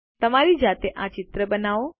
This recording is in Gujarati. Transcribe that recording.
તમારી જાતે આ ચિત્ર બનાવો